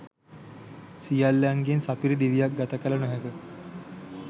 සියල්ලන්ගෙන් සපිරි දිවියක් ගත කළ නොහැක.